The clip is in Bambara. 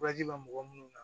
bɛ mɔgɔ minnu na